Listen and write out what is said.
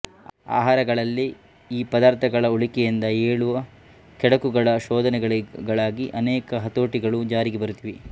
ಆಹಾರಗಳಲ್ಲೇ ಈ ಪದಾರ್ಥಗಳ ಉಳಿಕೆಯಿಂದ ಏಳುವ ಕೆಡುಕುಗಳ ಶೋಧನೆಗಳಾಗಿ ಅನೇಕ ಹತೋಟಿಗಳು ಜಾರಿಗೆ ಬರುತ್ತಿವೆ